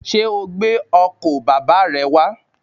Sé o gbé ọkò bàbá re wá?